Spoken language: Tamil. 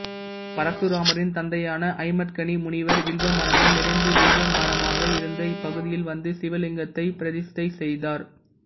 பரசுராமரின் தந்தையான ஜமதக்னி முனிவர் வில்வ மரங்கள் நிறைந்து வில்வ வனமாக இருந்த இப்பகுதியில் வந்து சிவலிங்கத்தைப் பிரதிஷ்டை செய்தார்